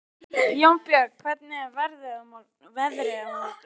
Jónbjörg, hvernig er veðrið á morgun?